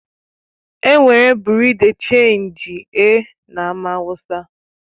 Enwere Bị́yurị́ dé Chénji e na Amaawusa